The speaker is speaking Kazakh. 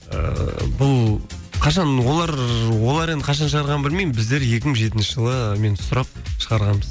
ыыы бұл қашан олар енді қашан шығарғанын білмеймін біздер екі мың жетінші жылы мен сұрап шығарғанбыз